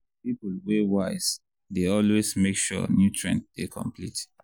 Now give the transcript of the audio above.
people wey wise dey always make sure nutrient dey complete.